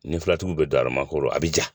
Nin filatigi bɛ don a ma kɔrɔ a bɛ ja